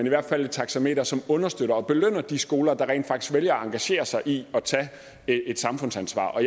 i hvert fald et taxameter som understøtter og belønner de skoler der rent faktisk vælger at engagere sig i at tage et samfundsansvar og